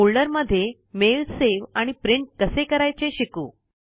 folder मध्ये mail save आणि print कसे करायचे शिकू